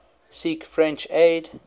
seek french aid